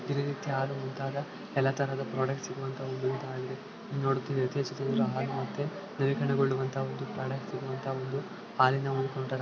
ಇಲ್ಲಿ ಎಲ್ಲ ತರದ್ ಪ್ರಾಡಕ್ಟ್ಸ್ ಸಿಗುವಂತ ಇದಾಗಿದೆ